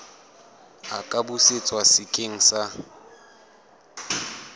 a ka busetswa sekeng sa